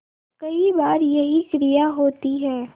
कई बार यही क्रिया होती है